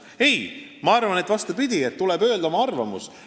Ei, ma arvan, vastupidi, tuleb öelda oma arvamus.